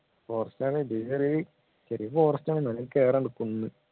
forest അതെ ചെറിയ forest ആണ് കേറാനുണ്ട് കുന്ന്